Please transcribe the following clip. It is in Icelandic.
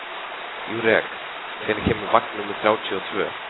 Júrek, hvenær kemur vagn númer þrjátíu og tvö?